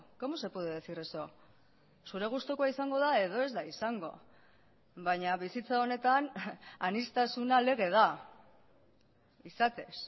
cómo se puede decir eso zure gustukoa izango da edo ez da izango baina bizitza honetan aniztasuna lege da izatez